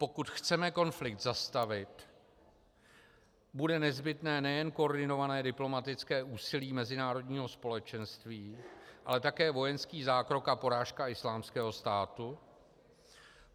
Pokud chceme konflikt zastavit, bude nezbytné nejen koordinované diplomatické úsilí mezinárodního společenství, ale také vojenský zákrok a porážka Islámského státu.